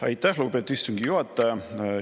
Aitäh, lugupeetud istungi juhataja!